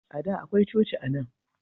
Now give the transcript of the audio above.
A da akwai coci anan.